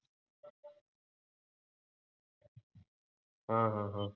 अं हम्म हम्म